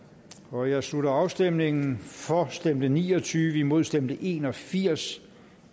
nu jeg slutter afstemningen for stemte ni og tyve imod stemte en og firs